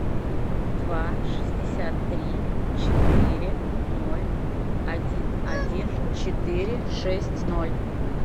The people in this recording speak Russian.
два шестьдесят три четыре ноль один один четыре шесть ноль